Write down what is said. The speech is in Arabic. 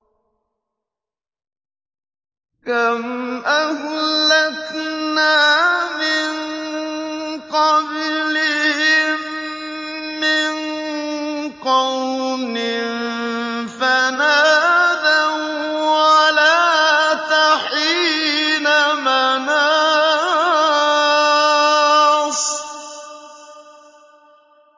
كَمْ أَهْلَكْنَا مِن قَبْلِهِم مِّن قَرْنٍ فَنَادَوا وَّلَاتَ حِينَ مَنَاصٍ